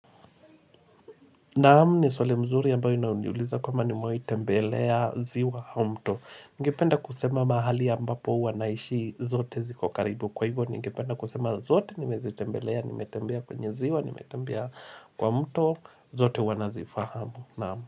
Naam ni swali mzuri ambayo inaniuliza kama nimewai tembelea ziwa au mto. Ningependa kusema mahali ambapo huwa naishi zote ziko karibu. Kwa hivyo ningependa kusema zote nimezitembelea, nimetembea kwenye ziwa, nimetembea kwa mto, zote huwa nazifahamu.